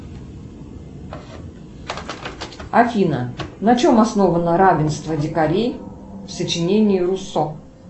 афина на чем основано равенство дикарей в сочинении руссо